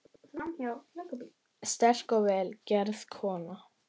Sterk og vel gerð kona.